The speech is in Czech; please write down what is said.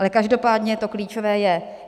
Ale každopádně to klíčové je.